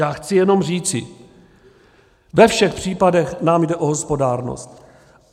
Já chci jenom říci, ve všech případech nám jde o hospodárnost.